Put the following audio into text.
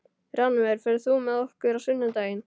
Rannver, ferð þú með okkur á sunnudaginn?